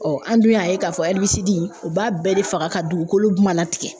Ɔ an dun y'a ye k'a fɔ ɛribisidi o b'a bɛɛ de faga ka dugukolo mana tigɛ